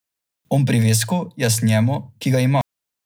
On privesku, jaz njemu, ki ga ima.